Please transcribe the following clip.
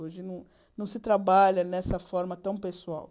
Hoje, não não se trabalha dessa forma tão pessoal.